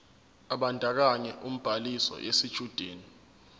ebandakanya ubhaliso yesitshudeni